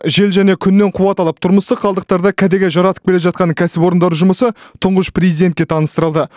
жел және күннен қуат алып тұрмыстық қалдықтарды кәдеге жаратып келе жатқан кәсіпорындар жұмысы тұңғыш президентке таныстырылды